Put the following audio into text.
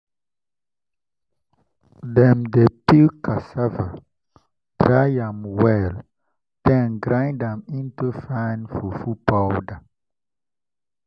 dem dey peel cassava dry am well then grind am into fine fufu powder.